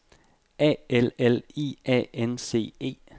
A L L I A N C E